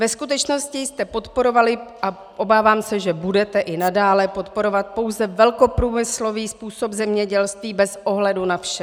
Ve skutečnosti jste podporovali, a obávám se, že budete i nadále podporovat, pouze velkoprůmyslový způsob zemědělství bez ohledu na vše.